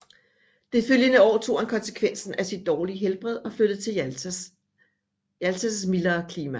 Det følgende år tog han konsekvensen af sit dårlige helbred og flyttede til Jaltas mildere klima